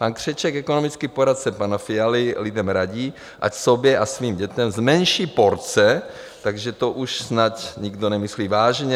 Pan Křeček, ekonomický poradce pana Fialy, lidem radí, ať sobě a svým dětem zmenší porce, takže to už snad nikdo nemyslí vážně.